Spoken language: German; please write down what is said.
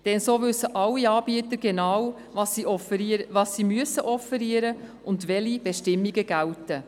Denn so wissen alle Anbieter genau, was sie offerieren müssen und welche Bestimmungen gelten.